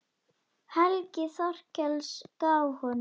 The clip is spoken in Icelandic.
Helgi Þorkels gaf honum þau.